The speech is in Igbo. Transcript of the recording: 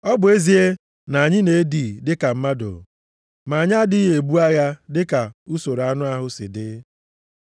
Ọ bụ ezie na anyị na-ebi dịka mmadụ, ma anyị adịghị ebu agha dịka usoro anụ ahụ si dị.